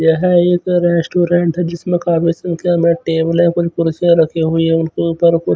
यह एक रेस्टोरेंट है जिसमे काफी संख्या में टेबल और कुर्शियां रखी हुई है उनके ऊपर ऊपर--